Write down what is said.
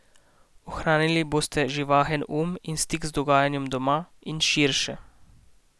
Ohranili boste živahen um in stik z dogajanjem doma in širše.